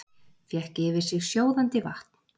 Fékk yfir sig sjóðandi vatn